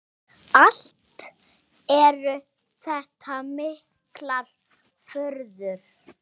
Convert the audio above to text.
Allt eru þetta miklar furður.